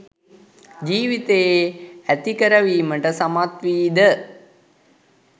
ජීවිතයේ ඇතිකරවීමට සමත්වීද?